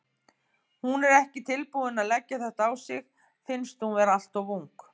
Hún er ekki tilbúin að leggja þetta á sig, finnst hún vera alltof ung.